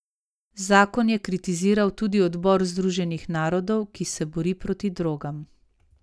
Zakon je kritiziral tudi odbor Združenih narodov, ki se bori proti drogam.